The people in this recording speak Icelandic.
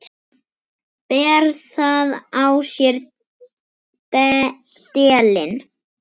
Ber það á sér delinn.